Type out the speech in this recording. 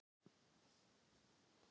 Hallgerður, spilaðu tónlist.